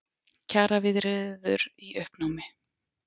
Kjaraviðræður í uppnámi